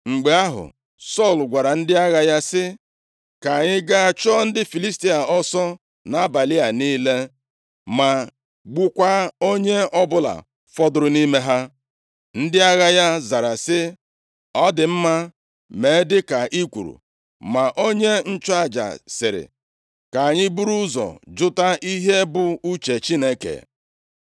Mgbe ahụ, Sọl gwara ndị agha ya sị, “Ka anyị gaa chụọ ndị Filistia ọsọ nʼabalị a niile, ma gbukwaa onye ọbụla fọdụrụ nʼime ha.” Ndị agha ya zara sị, “Ọ dị mma, mee dịka ị kwuru.” Ma onye nchụaja sịrị, “Ka anyị buru ụzọ jụta ihe bụ uche Chineke.”